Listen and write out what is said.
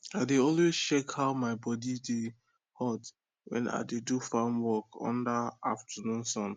i dey always check how my body dey hot wen i dey do farm work under afternoon sun